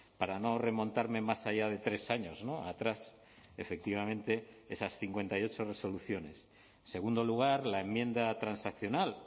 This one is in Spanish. para no remontarme más allá de tres años atrás efectivamente esas cincuenta y ocho resoluciones en segundo lugar la enmienda transaccional